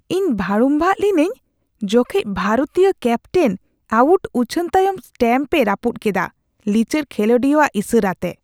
ᱤᱧ ᱵᱷᱟᱹᱲᱩᱢᱵᱟᱜ ᱞᱤᱱᱟᱹᱧ ᱡᱚᱠᱷᱮᱡ ᱵᱷᱟᱨᱚᱛᱤᱭᱟᱹ ᱠᱮᱯᱴᱮᱱ ᱟᱹᱣᱩᱴ ᱩᱪᱷᱟᱹᱱ ᱛᱟᱭᱚᱢ ᱥᱴᱟᱢᱯ ᱮ ᱨᱟᱹᱯᱩᱫ ᱠᱮᱫᱟ, ᱞᱤᱪᱟᱹᱲ ᱠᱷᱮᱞᱚᱰᱤᱭᱟᱹᱣᱟᱜ ᱤᱥᱟᱹᱨᱟᱛᱮ ᱾